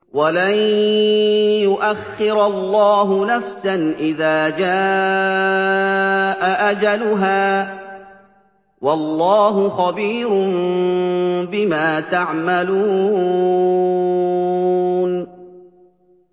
وَلَن يُؤَخِّرَ اللَّهُ نَفْسًا إِذَا جَاءَ أَجَلُهَا ۚ وَاللَّهُ خَبِيرٌ بِمَا تَعْمَلُونَ